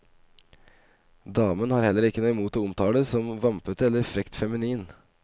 Damen har heller ikke noe imot å omtales som vampete eller frekt feminin.